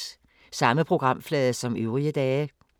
Samme programflade som øvrige dage